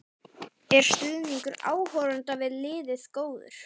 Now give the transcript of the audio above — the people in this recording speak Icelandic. Er stuðningur áhorfenda við liðið góður?